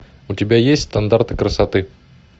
у тебя есть стандарты красоты